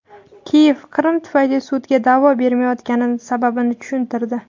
Kiyev Qrim tufayli sudga da’vo bermayotgani sababini tushuntirdi.